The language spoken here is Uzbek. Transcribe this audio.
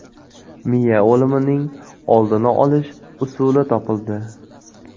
Miya o‘limining oldini olish usuli topildi.